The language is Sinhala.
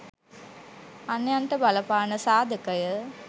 අන්‍යයන්ට බලපාන සාධක ය.